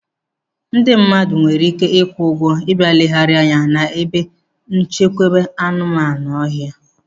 Ndị mmadụ nwere ike kwụọ ụgwọ ị bịa legharia anya n'ebe nchekwa anụ ọhịa.